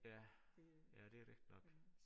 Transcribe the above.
Ja ja det rigtigt nok